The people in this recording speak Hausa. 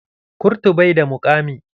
Kurtu bai da muƙami.